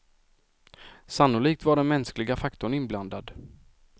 Sannolikt var den mänskliga faktorn inblandad.